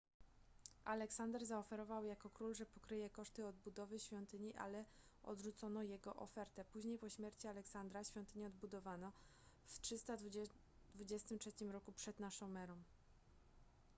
aleksander zaoferował jako król że pokryje koszty odbudowy świątyni ale odrzucono jego ofertę później po śmierci aleksandra świątynię odbudowano w 323 r p.n.e